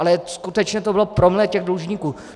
Ale skutečně to bylo promile těch dlužníků.